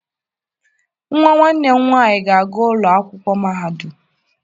Nwa nwanne m nwaanyị ga-aga ụlọ akwụkwọ mahadum.